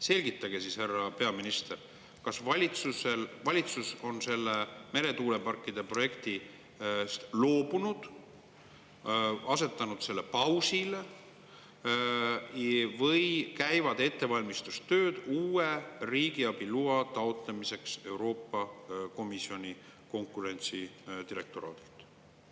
Selgitage siis, härra peaminister, kas valitsus on sellest meretuuleparkide projektist loobunud, asetanud selle pausile või käivad ettevalmistustööd uue riigiabi loa taotlemiseks Euroopa Komisjoni konkurentsi direktoraadilt.